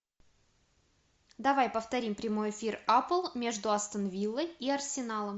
давай повторим прямой эфир апл между астон виллой и арсеналом